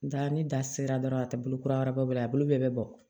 Da ni da sera dɔrɔn a tɛ bolo kura wɛrɛ bɔ a bolo bɛɛ bɛ bɔ